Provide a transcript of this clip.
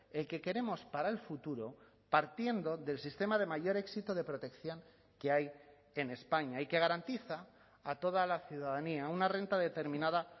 el que queremos para el futuro partiendo del sistema de mayor éxito de protección que hay en españa y que garantiza a toda la ciudadanía una renta determinada